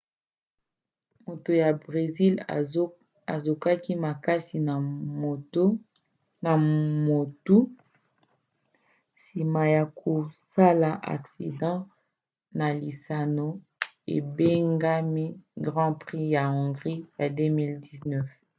moto ya bresil azokaki makasi na motu nsima ya kosala aksida na lisano ebengami grand prix ya hongrie ya 2009